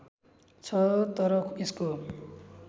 छ तर यसको